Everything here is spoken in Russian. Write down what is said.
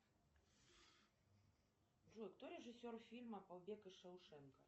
джой кто режиссер фильма побег из шоушенка